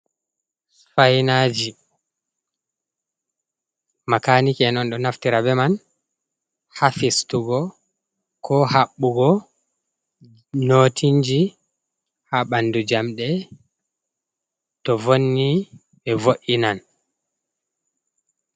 Sifainaji makaniki'en on ɗo naftira be man ha fistugo ko haɓɓugo notinji ha ɓandu jamɗe to vonni be vo'Ina.